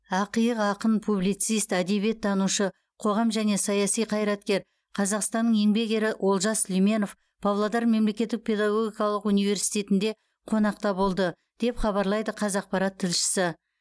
ақиық ақын публицист әдебиеттанушы қоғам және саяси қайраткер қазақстанның еңбек ері олжас сүлейменов павлодар мемлекеттік педагогикалық университетінде қонақта болды деп хабарлайды қазақпарат тілшісі